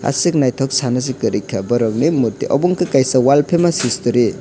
asuk nythok sana si kwri ka borok bini murti obo unke wall famous history .